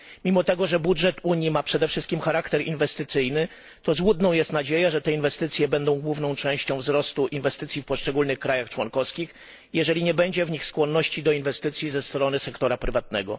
Mimo tego, że budżet Unii ma przede wszystkim charakter inwestycyjny, to złudną jest nadzieja, że te inwestycje będą główną częścią wzrostu inwestycji w poszczególnych państwach członkowskich, jeżeli nie będzie w nich skłonności do inwestycji ze strony sektora prywatnego.